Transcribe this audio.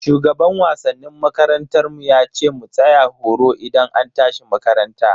Shugaban wasannin makarantar mu yace mu tsaya horo idan an tashi makaranta.